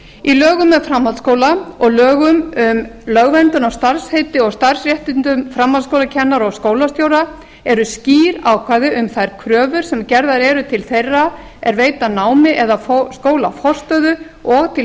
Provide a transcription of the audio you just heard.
í lögum um framhaldsskóla og lögum um lögverndun á starfsheiti og starfsréttindum framhaldsskólakennara og skólastjóra eru skýr ákvæði um þær kröfur sem gerðar eru til þeirra er veita námi eða skóla forstöðu og til